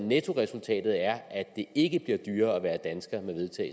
nettoresultatet er at det ikke bliver dyrere at være dansker